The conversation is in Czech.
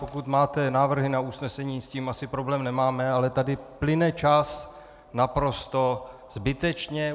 Pokud máte návrhy na usnesení, s tím asi problém nemáme, ale tady plyne čas naprosto zbytečně.